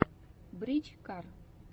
брич кар